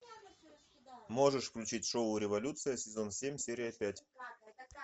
можешь включить шоу революция сезон семь серия пять